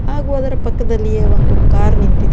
ಹಾಗು ಅದರ ಪಕ್ಕದಲ್ಲಿಯೇ ಒಂದು ಕಾರ್ ನಿಂತಿದೆ.